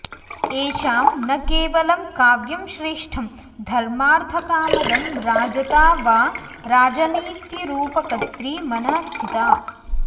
येषां न केवलं काव्यं श्रेष्ठं धर्मार्थकामदम् राजता वा राजनीतिरूपकर्त्री मनःस्थिता